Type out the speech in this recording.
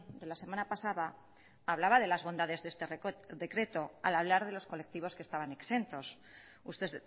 de la semana pasada hablaba de las bondades de este decreto al hablar de los colectivos que estaban exentos usted